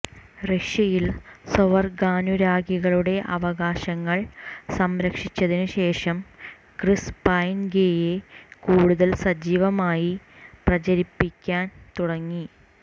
റഷ്യയിൽ സ്വവർഗാനുരാഗികളുടെ അവകാശങ്ങൾ സംരക്ഷിച്ചതിനു ശേഷം ക്രിസ് പൈൻ ഗേയെ കൂടുതൽ സജീവമായി പ്രചരിപ്പിക്കാൻ തുടങ്ങി